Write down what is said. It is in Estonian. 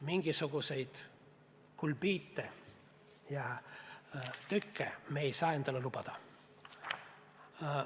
Mingisuguseid segaseid seisukohti me ei saa endale lubada.